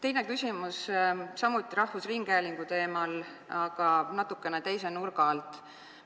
Teine küsimus on samuti rahvusringhäälingu teemal, aga natukene teise nurga alt.